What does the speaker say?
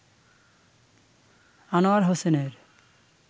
আনোয়ার হোসেনের